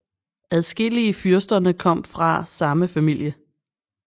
Adskillige fyrsterne kom fra samme familie